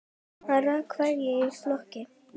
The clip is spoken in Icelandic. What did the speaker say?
Hann rakst hvergi í flokki.